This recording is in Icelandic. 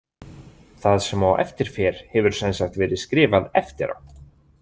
Það sem á eftir fer, hefur sem sagt verið skrifað eftir á.